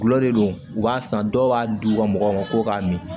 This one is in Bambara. Gulɔ le don u b'a san dɔw b'a di u ka mɔgɔw ma ko k'a min